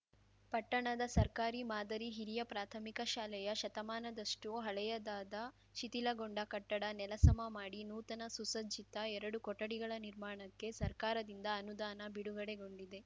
ಪಟ್ಟಣದ ಸರ್ಕಾರಿ ಮಾದರಿ ಹಿರಿಯ ಪ್ರಾಥಮಿಕ ಶಾಲೆಯ ಶತಮಾನದಷ್ಟುಹಳೆಯದಾದ ಶಿಥಿಲಗೊಂಡ ಕಟ್ಟಡ ನೆಲ ಸಮ ಮಾಡಿ ನೂತನ ಸುಸಜ್ಜಿತ ಎರಡು ಕೊಠಡಿಗಳ ನಿರ್ಮಾಣಕ್ಕೆ ಸರ್ಕಾರದಿಂದ ಅನುದಾನ ಬಿಡುಗಡೆಗೊಂಡಿದೆ